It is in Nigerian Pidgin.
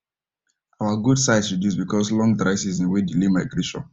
our goat size reduce because long dry season wen delay migration